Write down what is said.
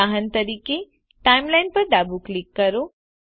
ઉદાહરણ તરીકે Timelineપર ડાબું ક્લિક કરો